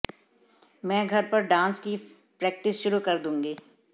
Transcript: मैं घर पर डांस की प्रैक्टिस शुरू कर दूंगी